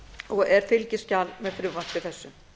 og er fylgiskjal með frumvarpi þessu